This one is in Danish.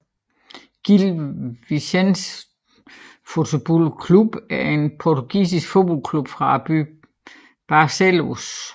Gil Vicente Futebol Clube er en portugisisk fodboldklub fra byen Barcelos